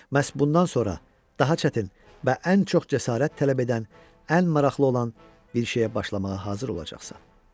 Məhz bundan sonra daha çətin və ən çox cəsarət tələb edən, ən maraqlı olan bir şeyə başlamağa hazır olacaqsan.